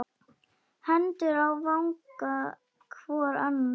Hendur á vanga hvor annars.